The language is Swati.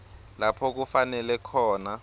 lapho kufanele khona